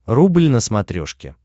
рубль на смотрешке